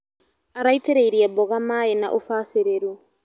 Araitĩrĩirie mboga maĩ na ũbacĩrĩru.